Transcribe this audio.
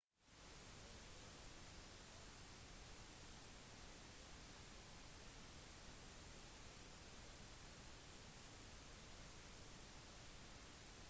lovforslaget ble godkjent av begge parliamenthusene allerede i 2011